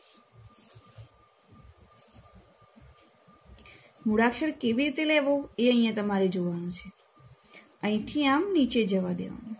મૂળાક્ષર કેવી રીતે લેવો અ તમારે અહિયાં જોવાનું છે.